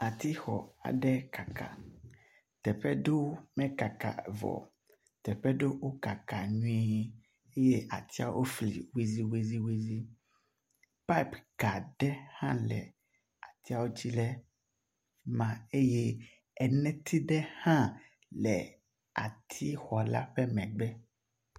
Atixɔ aɖe kaka teƒe ɖewo mekaka vɔ, teƒe ɖewo wokaka nyuie eye atsiwo fli wuliwuliwuli. Pipeka ɖe hã le atsiwo dzi le afi ma eye eneti aɖe hã le atixɔ la ƒe megbe